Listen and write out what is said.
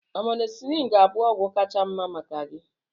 Amọzilin ga-abụ ọgwụ kacha mma maka gị